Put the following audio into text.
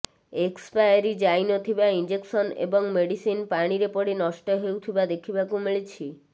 expiry ଯାଇନଥିବା injection ଏବଂ medicine ପାଣିରେ ପଡି ନଷ୍ଟ ହେଉଥିବା ଦେଖିବାକୁ ମିଳିଛି